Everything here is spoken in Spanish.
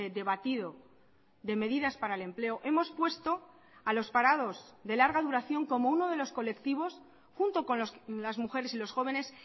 debatido de medidas para el empleo hemos puesto a los parados de larga duración como uno de los colectivos junto con las mujeres y los jóvenes